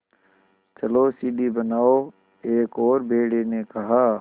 चलो सीढ़ी बनाओ एक और भेड़िए ने कहा